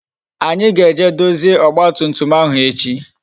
Anyi ga-eje dozie ọgba tum tum ahụ echi